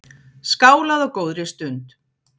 Skálað á góðri stund.